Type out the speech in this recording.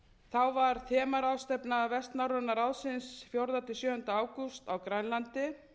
þá var þemaráðstefna vestnorræna ráðsins fjórða til sjöunda ágúst á grænlandi